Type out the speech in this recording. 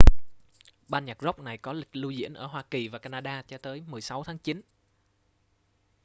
ban nhạc rock này có lịch lưu diễn ở hoa kỳ và canada cho tới 16 tháng chín